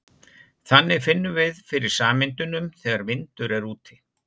Þannig finnum við fyrir sameindunum þegar vindur er úti.